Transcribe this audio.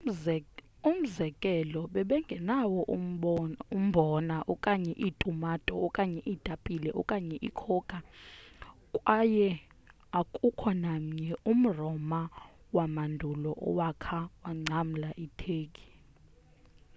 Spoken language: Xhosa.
umzekelo babengenawo umbhona okanye iitumato okanye iitapile okanye icocoa kwaye akukho namnye umroma wamandulo owakha wangcamla iturkey